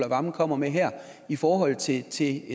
wammen kommer med her i forhold til til